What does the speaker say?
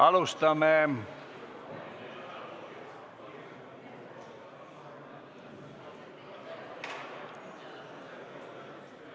Alustame.